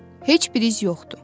Heç bir iz yoxdur.